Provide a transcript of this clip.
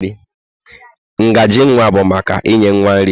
Ngaji nwa bụ maka inye nwa nri.